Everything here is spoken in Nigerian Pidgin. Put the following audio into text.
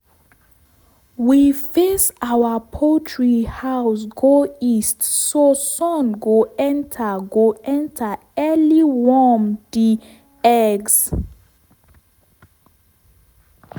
we face our poultry house go east so sun go enter go enter early warm di eggs.